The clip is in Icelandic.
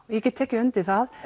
ég get tekið undir það